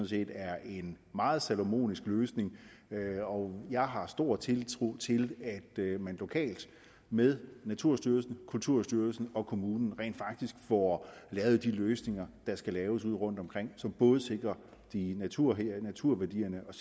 set er en meget salomonisk løsning og jeg har stor tiltro til at man lokalt med naturstyrelsen kulturstyrelsen og kommunerne rent faktisk får lavet de løsninger der skal laves ude rundtomkring som både sikrer naturværdierne naturværdierne og